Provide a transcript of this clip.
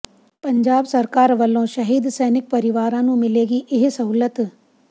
ਪੰਜਾਬ ਸਰਕਾਰ ਵਲੋਂ ਸ਼ਹੀਦ ਸੈਨਿਕ ਪਰਿਵਾਰਾਂ ਨੂੰ ਮਿਲੇਗੀ ਇਹ ਸਹੂਲਤ